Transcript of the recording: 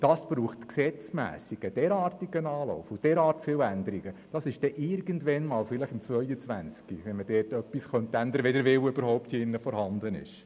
Das braucht auf Gesetzesebene einen derartigen Anlauf und derart viele Änderungen, dass man irgendwann einmal, vielleicht im Jahr 2022 etwas ändern könnte, wenn der Wille hier im Rat überhaupt vorhanden ist.